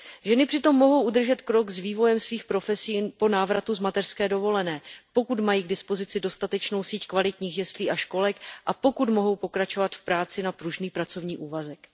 Ženy přitom mohou udržet krok s vývojem svých profesí po návratu z mateřské dovolené, pokud mají k dispozici dostatečnou síť kvalitních jeslí a školek a pokud mohou pokračovat v práci na pružný pracovní úvazek.